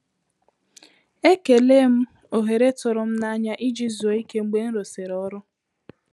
Ekele m ohere tụrụ m n’anya iji zuo íké mgbe nrụ sịrị ọrụ